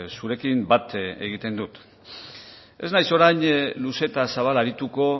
zurekin bat egiten dut ez naiz orain luze eta zabal arituko